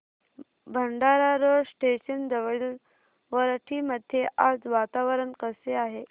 Bhandara road station जवळील वरठी मध्ये आज वातावरण कसे आहे